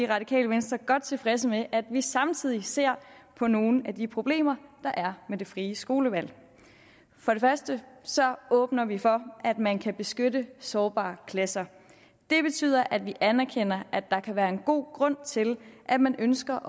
radikale venstre godt tilfredse med at vi samtidig ser på nogle af de problemer der er med det frie skolevalg for det første åbner vi for at man kan beskytte sårbare klasser det betyder at vi anerkender at der kan være en god grund til at man ønsker